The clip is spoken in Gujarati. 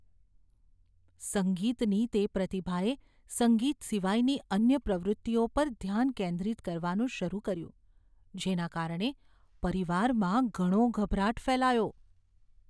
સંગીતની તે પ્રતિભાએ સંગીત સિવાયની અન્ય પ્રવૃત્તિઓ પર ધ્યાન કેન્દ્રિત કરવાનું શરૂ કર્યું જેના કારણે પરિવારમાં ઘણો ગભરાટ ફેલાયો.